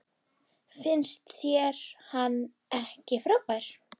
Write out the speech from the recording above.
Finnst þér hann ekki frábær?